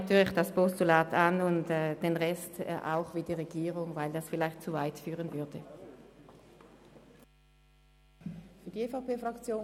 Natürlich nehmen wir das Postulat an, und den Rest sehen wir wie die Regierung, weil die Punkte 2 und 3 vielleicht zu weit führen würden.